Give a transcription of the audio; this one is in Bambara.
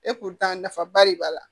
Epi tan nafaba de b'a la